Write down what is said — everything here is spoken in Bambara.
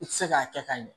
I tɛ se k'a kɛ ka ɲɛ